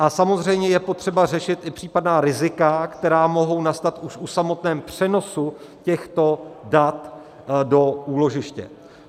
A samozřejmě je potřeba řešit i případná rizika, která mohou nastat už při samotném přenosu těchto dat do úložiště.